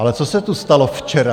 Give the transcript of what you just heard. Ale co se tady stalo včera?